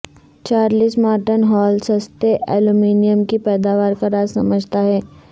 Charles Martin Hall سستے aluminium کی پیداوار کا راز سمجھتا ہے